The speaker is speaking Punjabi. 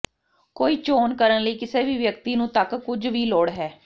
ਕੋਈ ਚੋਣ ਕਰਨ ਲਈ ਕਿਸੇ ਵੀ ਵਿਅਕਤੀ ਨੂੰ ਤੱਕ ਕੁਝ ਵੀ ਲੋੜ ਹੈ